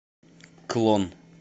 клон